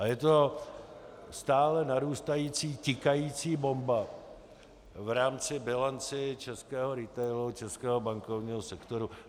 A je to stále narůstající tikající bomba v rámci bilance českého retailu, českého bankovního sektoru.